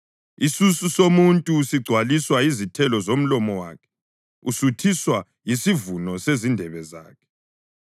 Isisu somuntu sigcwaliswa yizithelo zomlomo wakhe; usuthiswa yisivuno sezindebe zakhe.